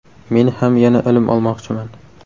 Men ham yana ilm olmoqchiman.